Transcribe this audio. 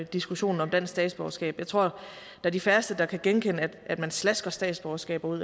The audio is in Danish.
diskussionen om dansk statsborgerskab jeg tror det er de færreste der kan genkende at man slasker statsborgerskaber ud